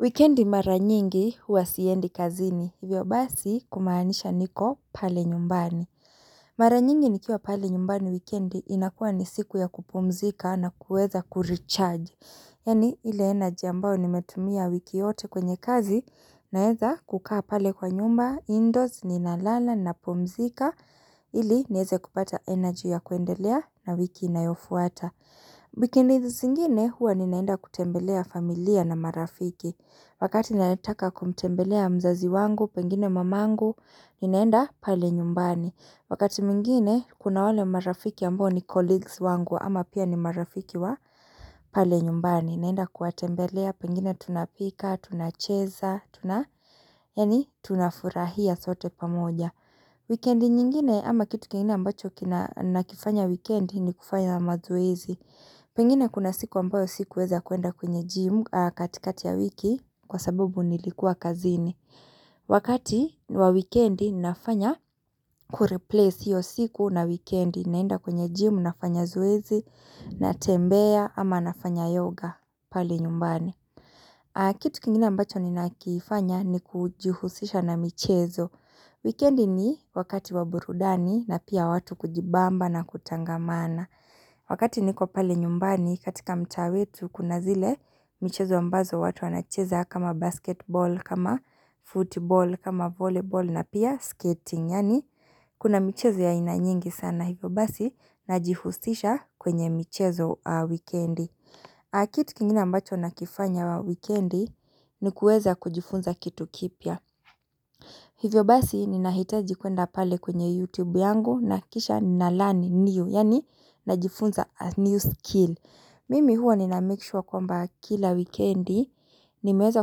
Weekendi mara nyingi huwa siendi kazini, hivyo basi kumaanisha niko pale nyumbani Mara nyingi nikiwa pale nyumbani wikendi inakuwa ni siku ya kupumzika na kuweza kuricharge Yani ile energy ambao nimetumia wiki yote kwenye kazi naweza kukaa pale kwa nyumba, indoors, ninalala ninapumzika ili nieze kupata energy ya kuendelea na wiki inayofuata Wikendi zingine huwa ninaenda kutembelea familia na marafiki Wakati ninataka kumtembelea mzazi wangu, pengine mamangu, ninaenda pale nyumbani wakati mwingine kuna wale marafiki ambao ni colleagues wangu ama pia ni marafiki wa pale nyumbani Ninaenda kuwatembelea pengine tunapika, tunacheza, tuna yaani tunafurahia sote pamoja Wikendi nyingine ama kitu kingine ambacho kina ninakifanya wikendi ni kufanya mazoezi Pengine kuna siku ambayo sikuweza kuenda kwenye jimu katikati ya wiki kwa sabubu nilikuwa kazini. Wakati wa wikendi nafanya kureplace hiyo siku na wikendi naenda kwenye jimu nafanya zoezi natembea ama nafanya yoga pale nyumbani. Kitu kingine ambacho ninakifanya ni kujihusisha na michezo. Wikendi ni wakati wa burudani na pia watu kujibamba na kutangamana. Wakati niko pale nyumbani katika mtaa wetu kuna zile michezo ambazo watu anacheza kama basketball, kama football, kama volleyball na pia skating yaani kuna michezo ya aina nyingi sana hivyo basi najihusisha kwenye michezo wikendi. Kitu kingina mbacho nakifanya wikendi ni kuweza kujifunza kitu kipya. Hivyo basi ninahitaji kuenda pale kwenye YouTube yangu na kisha nalearn new, yani najifunza a new skill. Mimi huwa ninamake sure kwamba kila wikendi nimeweza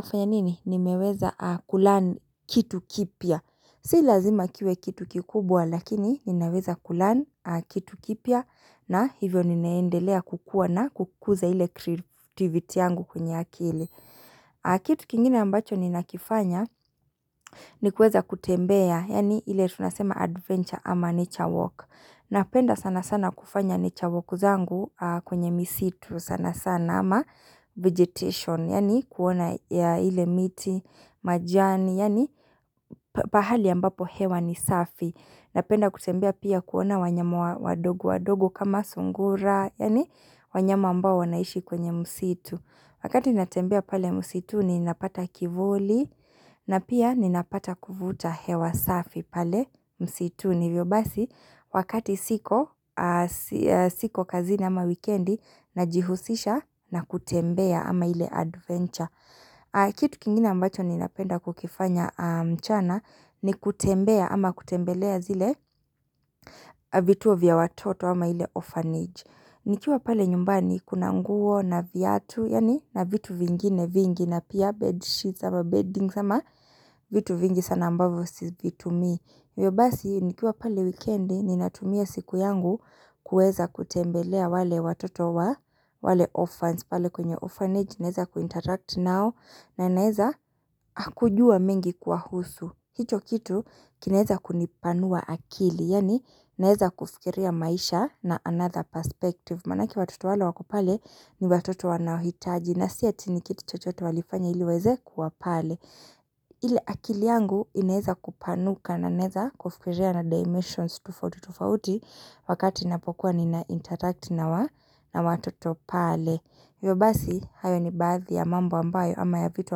kufanya nini? Nimeweza kulearn kitu kipya. Si lazima kiwe kitu kikubwa lakini ninaweza kulearn kitu kipya na hivyo ninaendelea kukua na kukuza ile creativity yangu kwenye akili. Kitu kingine ambacho ninakifanya ni kuweza kutembea yaani ile tunasema adventure ama nature walk. Napenda sana sana kufanya nature zangu kwenye misitu sana sana ama vegetation, yaani kuona ile miti majani, yaani pahali ambapo hewa ni safi. Napenda kutembea pia kuona wanyama wadogo wadogo kama sungura, yaani wanyama ambao wanaishi kwenye msitu. Wakati natembea pale msituni napata kivuli na pia ninapata kuvuta hewa safi pale msituni hivyo basi wakati siko siko kazi ama wikendi najihusisha na kutembea ama ile adventure. Kitu kingina ambacho ninapenda kukifanya mchana ni kutembea ama kutembelea zile vituo vya watoto ama ile orphanage. Nikiwa pale nyumbani kuna nguo na viatu yaani na vitu vingine vingi na pia bedsheet ama beddings ama vitu vingi sana ambavyo sivitumii hivyo basi nikiwa pale wikendi ninatumia siku yangu kueza kutembelea wale watoto wa wale orphans pale kwenye orphanage nieza kuinteract nao na naeza kujua mengi kuwahusu hicho kitu kinaeza kunipanua akili Yaani naeza kufikiria maisha na another perspective Manake watoto wale wako pale ni watoto wanahitaji na si ati ni kiti chochote walifanya ili waweze kuwa pale ile akili yangu inaeza kupanuka na naeza kufikiria na dimensions tofauti tofauti Wakati ninapokuwa ninainteract na watoto pale hivyo basi, hayo ni baadhi ya mambo ambayo ama ya vitu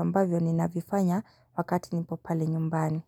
ambayo ni navifanya wakati nipo pale nyumbani.